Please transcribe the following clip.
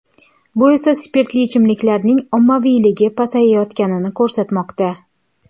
Bu esa spirtli ichimliklarning ommaviyligi pasayayotganini ko‘rsatmoqda.